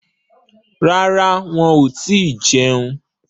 Rárá, wọn ò tíì jẹun.